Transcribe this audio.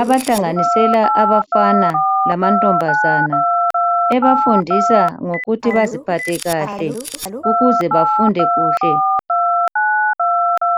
abahlanganisela abafana lamantombazana, ebafundisa ngokuthi baziphathe kahle ukuze bafunde kuhle.